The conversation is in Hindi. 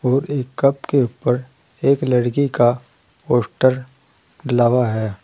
और एक कप के ऊपर एक लड़की का पोस्टर लगा है।